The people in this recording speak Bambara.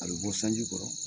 A bɛ bɔ sanji kɔrɔ.